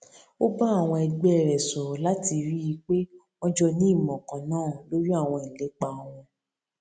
ó bá àwọn ẹgbẹ rẹ sọrọ láti rí i pé wọn jọ ní ìmọ kan náà lórí àwọn ìlépa wọn